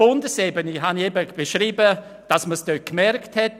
Vorher habe ich dargestellt, dass man es auf Bundesebene gemerkt hat.